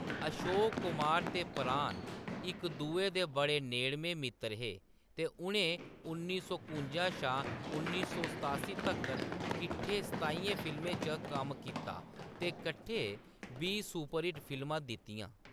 अशोक कुमार ते प्राण इक-दुए दे बड़े नेडमें मित्तर हे ते उʼनें उन्नी सौ कुं'जा शा उन्नी सौ सतासीं तक्कर कट्ठे सताइयें फिल्में च कम्म कीता ते कट्ठे बीह् सुपरहिट फिल्मां दित्तियां।